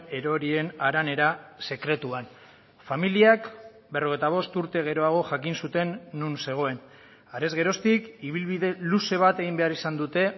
erorien haranera sekretuan familiak berrogeita bost urte geroago jakin zuten non zegoen harez geroztik ibilbide luze bat egin behar izan dute